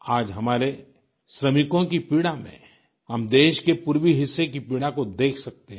आज हमारे श्रमिकों की पीड़ा में हम देश के पूर्वीं हिस्से की पीड़ा को देख सकते हैं